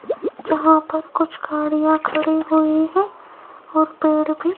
यहां पर कुछ गाड़ियां खड़ी हुई हैं और पेड़ भी।